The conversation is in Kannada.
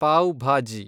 ಪಾವ್ ಭಾಜಿ